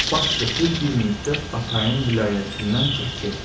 Baş götür, bir müddət atayın vilayətindən çıx get.